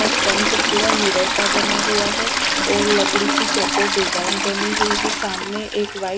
और फ्रंट पूरा मिरर का बना हुआ है और लकड़ी की चौकोर डिज़ाइन बनी हुई हैं सामने एक वाइ--